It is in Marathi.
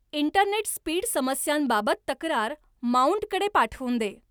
इंटरनेट स्पीड समस्यांबाबत तक्रार माउंटकडे पाठवून दे